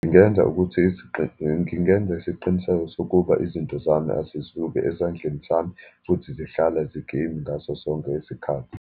Ngingenza ukuthi ngingenza isiqiniseko sokuba izinto zami azisuki esandleni sami, futhi zihlala zikimi ngaso sonke isikhathi.